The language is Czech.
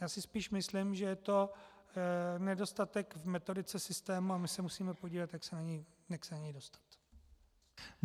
Já si spíš myslím, že je to nedostatek v metodice systému a my se musíme podívat, jak se na něj dostat.